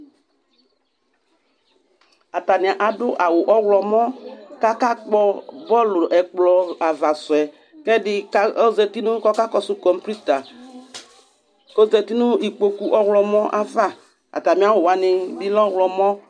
Atanɩ adʋ awʋ ɔɣlɔmɔ kʋ akakpɔ bɔlʋ, ɛkplɔ ava sʋ yɛ kʋ ɛdɩ ka ɔzati nʋ kʋ ɔkakɔsʋ kɔmpuita kʋ ɔzati nʋ ikpoku ɔɣlɔmɔ ava Atamɩ awʋ wanɩ bɩ lɛ ɔɣlɔmɔ